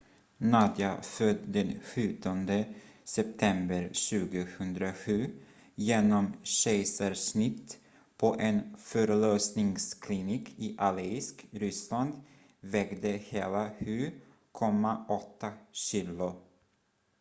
nadia född den 17 september 2007 genom kejsarsnitt på en förlossningsklinik i aleisk ryssland vägde hela 7,8 kilo